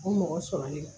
O mɔgɔ sɔrɔli la